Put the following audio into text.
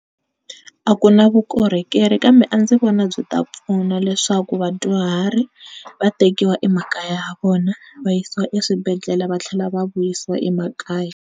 A ku na vukorhokeri kambe a ndzi vona byi ta pfuna leswaku vadyuhari va tekiwa emakaya ya vona va yisiwa eswibedhlele va tlhela va vuyisiwa emakaya.